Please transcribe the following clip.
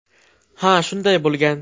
Ha, shunday bo‘lgan.